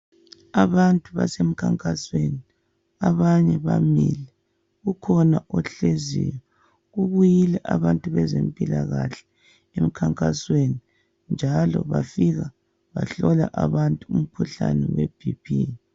Abantu base mkhankasweni abanye bamile ukhona ohleziyo kubuyile abantu bezempilakahle emkhankasweni njalo bafika bahlola abantu umkhuhlane we bp.